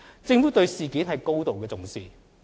政府對事件高度重視。